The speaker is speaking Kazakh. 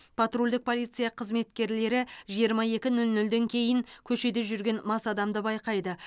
патрульдік полиция қызметкерлері жиырма екі нөл нөлден кейін көшеде жүрген мас адамды байқайды